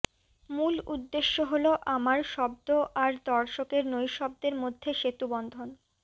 মূল উদ্দেশ্য হল আমার শব্দ আর দর্শকের নৈঃশব্দের মধ্যে সেতুবন্ধন